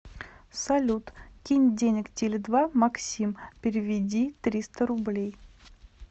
салют кинь денег теле два максим переведи триста рублей